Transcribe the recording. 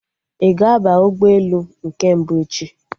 Ị ga-aba ụgbọelu nke mbụ echi?